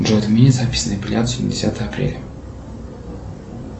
джой отмени запись на эпилляцию на десятое апреля